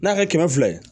N'a kɛ kɛmɛ fila ye